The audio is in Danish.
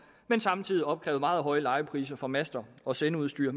men samtidig opkrævet meget høje lejepriser for master og sendeudstyr